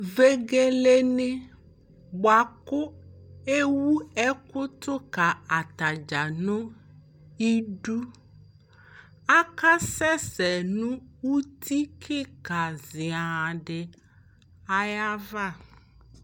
Vegelenɩ bʋa kʋ ewu ɛkʋ tʋ ka atadzaa nʋ idu Akasɛsɛ uti kɩka zian dɩ ayava